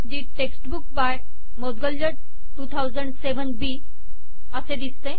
the textbook by Maudgalya 2007बी असे दिसते